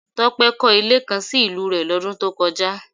Tope kọ̀ ilé kan sì ìlú rè lodun tó kọjá